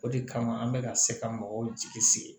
O de kama an bɛ ka se ka mɔgɔw jigi sigi